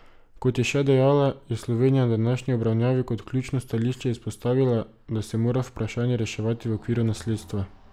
Kot je še dejala, je Slovenija na današnji obravnavi kot ključno stališče izpostavila, da se mora vprašanje reševati v okviru nasledstva.